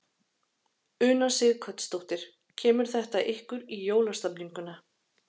Una Sighvatsdóttir: Kemur þetta ykkur í jólastemninguna?